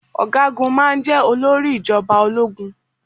Ọ̀gágun máa jeh olórí ìjọba ológun.